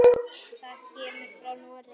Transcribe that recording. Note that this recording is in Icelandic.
Það kemur frá Noregi.